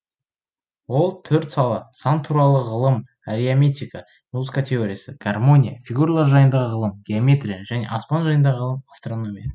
ол төрт сала сан туралы ғылым арияметика музыка теориясы гармония фигуралар жайындағы ғылым геометрия және аспан жайындағы ғылым астрономия